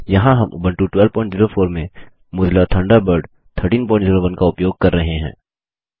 यहाँ हम उबंटू 1204 में मौजिला थंडरबर्ड 1301 का उपयोग कर रहे हैं